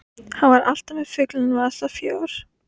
Hann var alltaf með fulla vasa fjár.